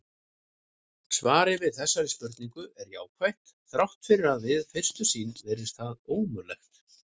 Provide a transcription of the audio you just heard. Svarið við þessari spurningu er jákvætt þrátt fyrir að við fyrstu sýn virðist það ómögulegt.